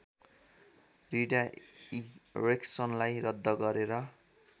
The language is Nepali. रिडाइरेक्सनलाई रद्द गरेर